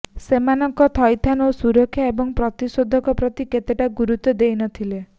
ସେମାନଙ୍କ ଥଇଥାନ ଓ ସୁରକ୍ଷା ଏବଂ ପ୍ରତିଷେଧକ ପ୍ରତି ସେତେଟା ଗୁରୁତ୍ୱ ଦେଇନଥିଲେ